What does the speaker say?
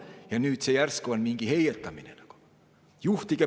Ja nüüd on see järsku nagu mingi heietamine!